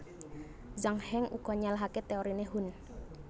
Zhang Heng uga nyalahaké téoriné Hun